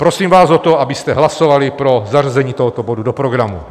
Prosím vás o to, abyste hlasovali pro zařazení tohoto bodu do programu.